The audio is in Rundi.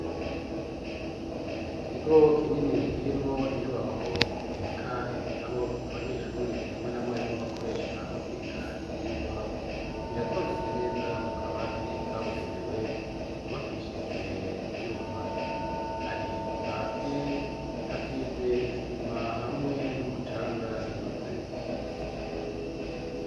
Ikigo kinini kirimwo inyubako ibika ibitabo, abanyeshuri hamwe na mwarimu bakoresha mu kwiga ivyigwa biratondetse neza mu kabati ,kabugenewe kubakishijwe ivyuma, Kandi hasi hasize isima hamwe n'umucanga binoze.